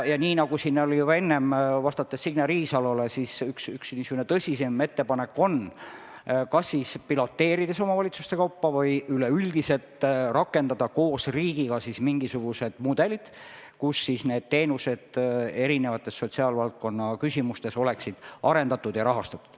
Nii nagu ma siin enne Signe Riisalole vastates ütlesin, on üks niisugune tõsisem ettepanek: tuleks piloteerides omavalitsuste kaupa või üleüldiselt rakendada koos riigiga mingisuguseid mudeleid, kus oleksid teenused sotsiaalvaldkonna küsimustes arendatud ja rahastatud.